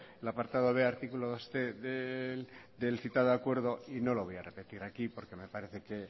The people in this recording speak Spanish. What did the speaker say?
el apartado b artículo dosc del citado acuerdo y no lo voy a repetir aquí porque me parece que es